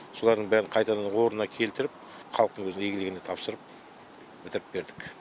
солардың бәрін қайтадан орнына келтіріп халықтың өзінің игілігіне тапсырып бітіріп бердік